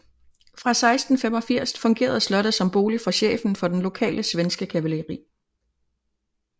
Fra 1685 fungerede slottet som bolig for chefen for den lokale svenske kavaleri